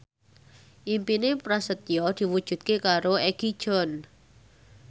impine Prasetyo diwujudke karo Egi John